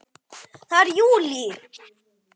Það er JÚLÍ!